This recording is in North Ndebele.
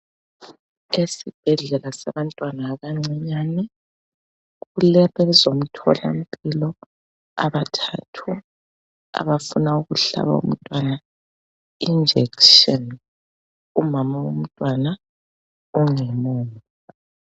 Esibhedlela sabantwana abancane kulabezomtholampilo abathathu abafuna ukuhlaba umntwana injekisheni, umama womntwana ungemuva.